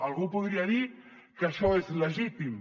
algú podria dir que això és legítim